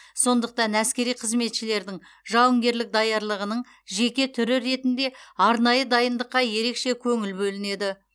сондықтан әскери қызметшілердің жауынгерлік даярлығының жеке түрі ретінде арнайы дайындыққа ерекше көңіл бөлінеді